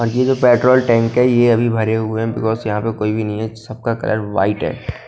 ये जो petrol tank है ये अभी भरे हुए हैं बिकॉज यहां पे कोई भी नहीं है सबका कलर व्हाइट है।